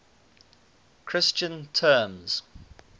christian terms